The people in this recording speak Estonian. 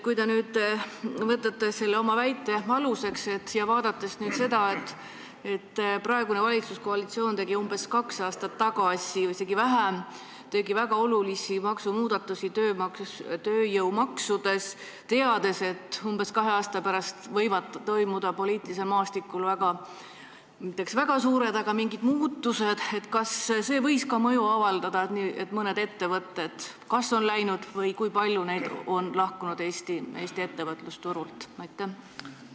Kui te nüüd võtate selle oma väite aluseks ja vaatate seda, et praegune valitsuskoalitsioon tegi umbes kaks aastat tagasi, isegi vähem, väga olulisi muudatusi tööjõumaksudes, teades, et umbes kahe aasta pärast võivad poliitilisel maastikul toimuda kas just väga suured, aga siiski mingid muutused, siis kas see võis ka mõju avaldada sellele, et mõned ettevõtted on Eestist läinud, või sellele, kui palju neid on Eesti ettevõtlusturult lahkunud?